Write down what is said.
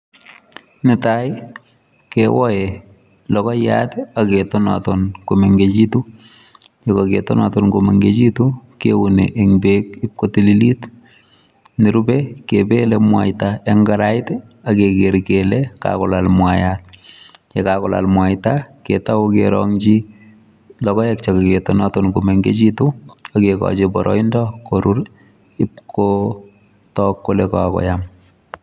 Netai kewoe logoiyat aketonoton komengechitu. Yekaketonoton komengechitu keune eng beek ipkotililit. Nerube kepele mwaita eng karait akeker kele kakolal mwaat. Yekakolal mwaita ketou kerong'chi logoek chekaketonoton komengechitu akekochi boroindo korur ipkotok kole kakoyam.